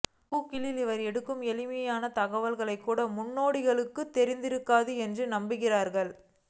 கூகிளில் இவர்கள் எடுக்கும் எளிமையான தகவல்கள்கூட முன்னோடிகளுக்குத் தெரிந்திருக்காது என நம்புகிறார்கள்